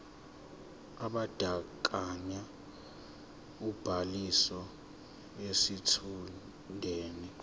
ebandakanya ubhaliso yesitshudeni